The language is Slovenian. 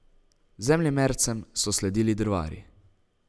Zemljemercem so sledili drvarji.